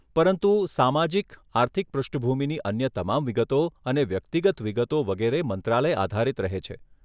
પરંતુ સામાજિક આર્થિક પૃષ્ઠભૂમિની અન્ય તમામ વિગતો અને વ્યક્તિગત વિગતો વગેરે મંત્રાલય આધારિત રહે છે.